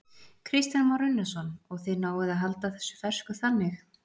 Kristján Már Unnarsson: Og þið náið að halda þessu fersku þannig?